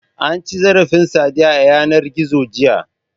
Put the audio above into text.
An ci zarafin Sadiya a yanar gizo, jiya.